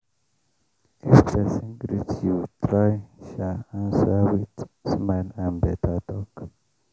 if persin greet you try answer with smile and beta talk.